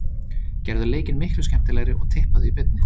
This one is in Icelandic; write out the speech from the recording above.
Gerðu leikinn miklu skemmtilegri og tippaðu í beinni.